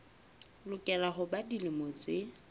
lokela ho ba dilemo tse